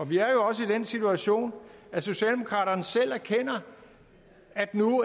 vi er jo også i den situation at socialdemokratiet selv erkender at nu